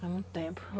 Faz muito tempo.